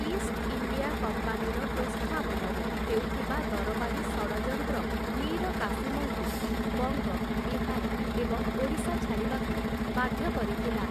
East India କମ୍ପାନୀର ପ୍ରୋତ୍ସାହନରେ ହେଉଥିବା ଦରବାରୀ ଷଡ଼ଯନ୍ତ୍ର ମୀର କାସିମ୍‌ଙ୍କୁ ବଙ୍ଗ, ବିହାର ଏବଂ ଓଡ଼ିଶା ଛାଡ଼ିବାକୁ ବାଧ୍ୟ କରିଥିଲା ।